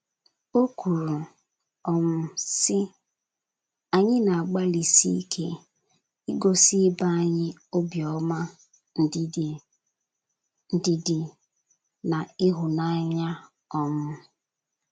O kwuru, um sị: “ Anyị na - agbalịsi ike igosi ibe anyị obiọma, ndidi,, ndidi, na ịhụnanya. um ”